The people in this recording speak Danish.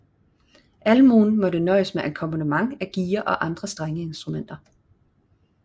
Almuen måtte nøjes med akkompagnement af giger og andre strengeinstrumenter